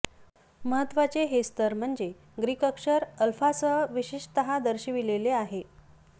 महत्त्वचे हे स्तर म्हणजे ग्रीक अक्षर अल्फासह विशेषतः दर्शविलेले आहे